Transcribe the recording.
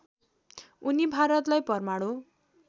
उनी भारतलाई परमाणु